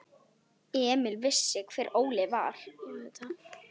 Emil vissi hver Óli var.